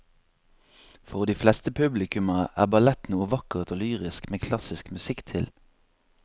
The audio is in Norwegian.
For de fleste publikummere er ballett noe vakkert og lyrisk med klassisk musikk til.